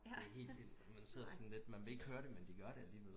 Det er helt vildt man vil ikke høre det med de gør det alligevel